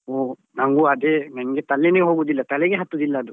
ಹೋ ನನ್ಗು ಅದೆ ನನ್ಗೆ ತಲೆನೆ ಹೋಗುದಿಲ್ಲ ತಲೆಗೆ ಹತ್ತುದಿಲ್ಲ ಅದು.